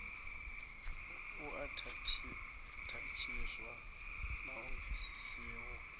u athatshiwa na u bvisiho